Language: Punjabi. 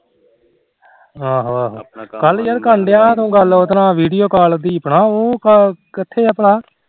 ਆਹੋ ਆਹੋ ਕੱਲ ਯਾਰ ਕਰ ਲਾ ਗੱਲ ਉਹਦੇ ਨਾਲ ਦੀਪ ਨਾਲ ਵੀਡੀਓ ਕਾਲ ਤੂੰ ਕਿਥੇ ਭਲਾ